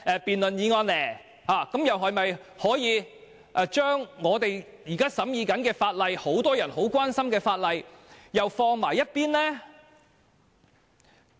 這樣的話，屆時是否又要把我們正在審議的法案和很多人關心的法例擱在一旁？